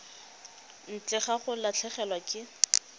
ntle ga go latlhegelwa ke